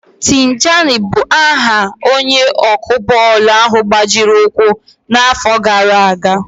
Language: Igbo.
Tijani bụ aha onye ọkụ bọọlụ ahụ gbajiri ụkwụ n'àfọ́ gaara aga.